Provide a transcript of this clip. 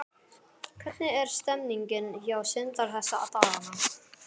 Hvernig er stemmningin hjá Sindra þessa dagana?